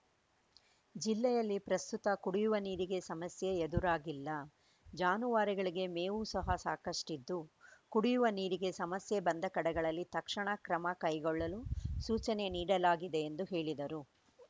ಜಿಲ್ಲೆಯಲ್ಲಿ ಪ್ರಸ್ತುತ ಕುಡಿಯುವ ನೀರಿಗೆ ಸಮಸ್ಯೆ ಎದುರಾಗಿಲ್ಲ ಜಾನುವಾರುಗಳಿಗೆ ಮೇವು ಸಹ ಸಾಕಷ್ಟಿದ್ದು ಕುಡಿಯುವ ನೀರಿಗೆ ಸಮಸ್ಯೆ ಬಂದ ಕಡೆಗಳಲ್ಲಿ ತಕ್ಷಣ ಕ್ರಮ ಕೈಗೊಳ್ಳಲು ಸೂಚನೆ ನೀಡಲಾಗಿದೆ ಎಂದು ಹೇಳಿದರು